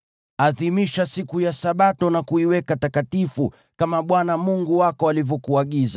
Adhimisha siku ya Sabato na kuiweka takatifu, kama Bwana Mungu wako alivyokuagiza.